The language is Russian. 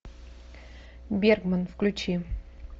бергман включи